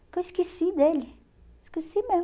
Porque eu esqueci dele, esqueci mesmo.